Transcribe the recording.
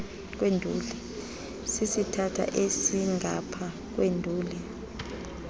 sisithatha esasingapha kwenduli